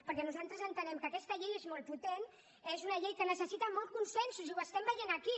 perquè nosaltres entenem que aquesta llei és molt potent és una llei que necessita molts consensos i ho veiem aquí